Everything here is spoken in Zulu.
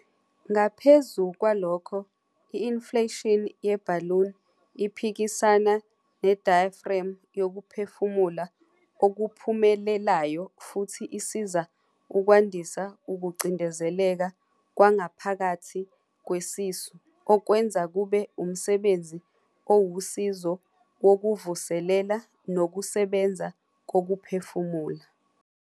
Ngaphezu kwalokho, i-inflation ye-balloon iphikisana ne-diaphragm yokuphefumula okuphumelelayo futhi isiza ukwandisa ukucindezeleka kwangaphakathi kwesisu, okwenza kube umsebenzi owusizo wokuvuselela nokusebenza kokuphefumula.